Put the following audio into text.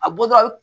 A bɔtɔ